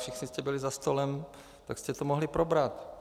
Všichni jste byli za stolem, tak jste to mohli probrat.